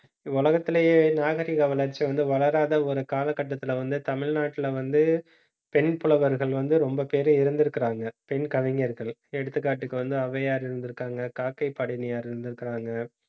உலகத்திலேயே, நாகரீக வளர்ச்சி வந்து வளராத ஒரு காலகட்டத்திலே வந்து தமிழ்நாட்டிலே வந்து, பெண் புலவர்கள் வந்து ரொம்ப பேர் இருந்திருக்கிறாங்க. பெண் கவிஞர்கள் எடுத்துக்காட்டுக்கு வந்து அவ்வையார் இருந்திருக்காங்க, காக்கை பாடணியார் இருந்திருக்காங்க